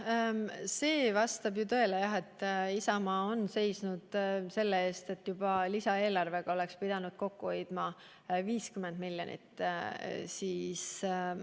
Jah, see vastab tõele, et Isamaa on seisnud selle eest, et juba lisaeelarvega oleks pidanud kokku hoidma 50 miljonit eurot.